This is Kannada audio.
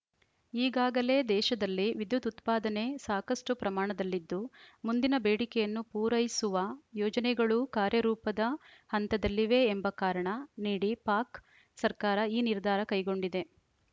ಈಗಾಗಲೇ ದೇಶದಲ್ಲಿ ವಿದ್ಯುತ್‌ ಉತ್ಪಾದನೆ ಸಾಕಷ್ಟುಪ್ರಮಾಣದಲ್ಲಿದ್ದುಮುಂದಿನ ಬೇಡಿಕೆಯನ್ನು ಪೂರೈಸುವ ಯೋಜನೆಗಳೂ ಕಾರ್ಯರೂಪದ ಹಂತದಲ್ಲಿವೆ ಎಂಬ ಕಾರಣ ನೀಡಿ ಪಾಕ್‌ ಸರ್ಕಾರ ಈ ನಿರ್ಧಾರ ಕೈಗೊಂಡಿದೆ